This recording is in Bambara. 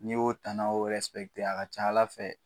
N'i y'o tanaw a ka ca Ala fɛ